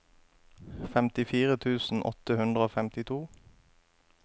femtifire tusen åtte hundre og femtito